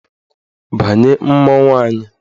Banye mmanwụ anyị!